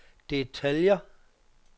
detaljer